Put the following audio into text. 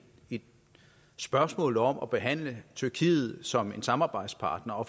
spørgsmål om at behandle tyrkiet som en samarbejdspartner og